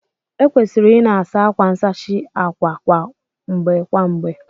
Ekwesịrị ị na-asa akwa nsachi àkwà kwa mgbe kwa mgbe